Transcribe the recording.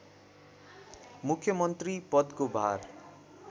मुख्यमन्त्री पदको भार